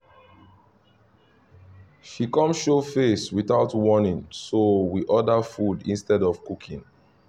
she come show face without warning so we order food instead of cooking